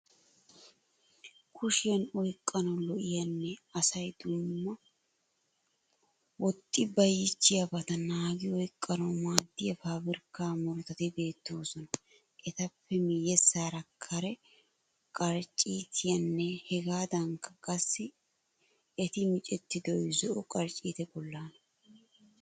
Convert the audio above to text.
Kushiyan oyqqanawu lo'iyanne asayi dumma woxxi bayiichchiyabata naagi oyiqqanawu maaddiya fabirikka murutati beettoosona. Etappe miyyessaara kare qarcciitayinne hegaadankka qassi tik micettidoyi zo'o qarcciita bollaana.